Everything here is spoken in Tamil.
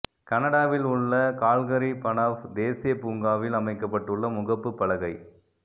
கனடாவில் உள்ள கால்கரி பனஃவ் தேசிய பூங்காவில் அமைக்கப்பட்டுள்ள முகப்பு பலகை